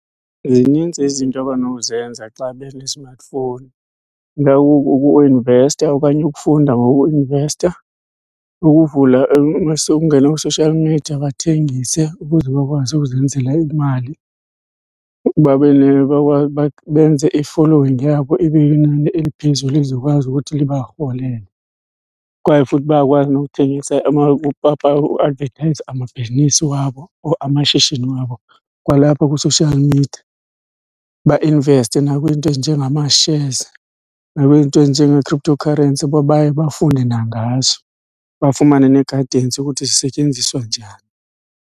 Zinintsi izinto abanokuzenza xa benezimatifowuni, ukuinvesta okanye ukufunda ngokuinvesta. Ukuvula , ungene kwi-social media bathengise ukuze bakwazi ukuzenzela imali. Babe , benze i-following yabo ibe linani eliphezulu lizokwazi ukuthi libarholele. Kwaye futhi bayakwazi nokuthengisa uadvethayiza amabhizinisi wabo or amashishini wabo kwalapha kwi-social media. Bainveste nakwizinto ezinjengamashezi nakwizinto ezinjengee-cryptocurrency uba baye bafunde nangazo, bafumane ne-guidance yokuthi zisetyenziswa njani.